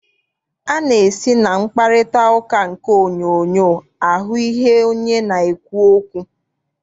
A na-esi na mkparịtaụka nke onyoonyoo ahụ ihu onye na-ekwu okwu.